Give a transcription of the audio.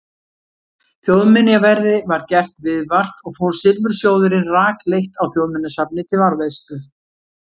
Þjóðminjaverði var gert viðvart og fór silfursjóðurinn rakleitt á Þjóðminjasafnið til varðveislu.